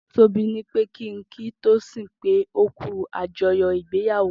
Tobi nipé kin kí Tosin pé ó kú ájọyọ̀ igbéyàwó